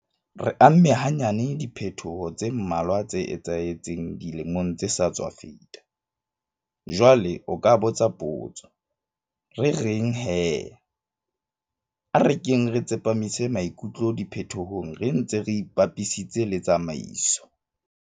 Re amme hanyane diphetoho tse mmalwa tse etsahetseng dilemong tse sa tswa feta. Jwale o ka botsa potso, Re reng hé? A re keng re tsepamise maikutlo diphetohong re ntse re ipapisitse le tsamaiso.